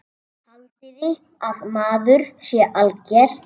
Haldiði að maður sé alger!